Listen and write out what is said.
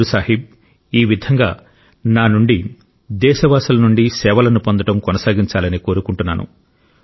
గురు సాహిబ్ ఈ విధంగా నా నుండి దేశవాసుల నుండి సేవలను పొందడం కొనసాగించాలని కోరుకుంటున్నాను